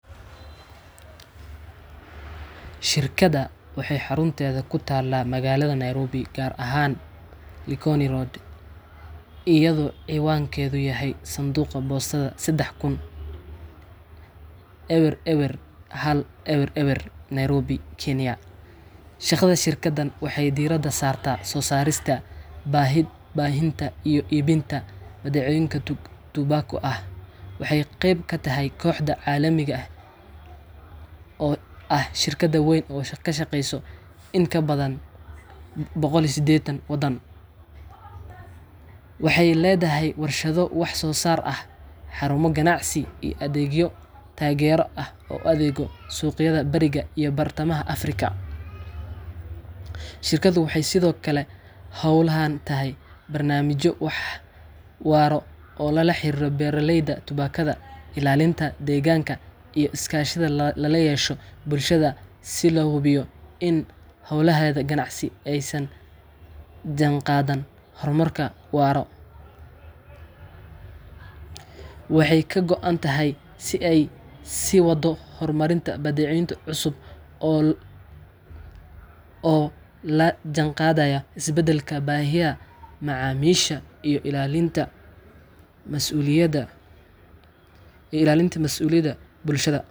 Shirkadda waxay xarunteedu ku taallaa magaalada Nairobi, gaar ahaan 08 Likoni Road, , iyadoo cinwaankeedu yahay Sanduuqa Boostada 30000 – 00100 GPO, Nairobi, Kenya . Shaqada shirkaddan waxay diiradda saartaa soo saarista, baahinta, iyo iibinta badeecooyin tubaako ah. Waxay qayb ka tahay kooxda caalamiga ah ee British American Tobacco, oo ah shirkad weyn oo ka shaqeysa in ka badan 180 waddan. BAT Kenya waxay leedahay warshado wax soo saar ah, xarumo ganacsi, iyo adeegyo taageero oo u adeega suuqyada Bariga iyo Bartamaha Afrika . Shirkaddu waxay sidoo kale ku hawlan tahay barnaamijyo waara oo la xiriira beeraleyda tubaakada, ilaalinta deegaanka, iyo iskaashi lala yeesho bulshada si loo hubiyo in hawlaheeda ganacsi ay la jaanqaadaan horumarka waara. Kenya waxay ka go'an tahay in ay sii waddo horumarinta badeecooyin cusub oo la jaanqaadaya isbeddelka baahiyaha macaamiisha iyo ilaalinta mas'uuliyadda bulshada.